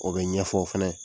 O be ɲɛfɔ fɛnɛ.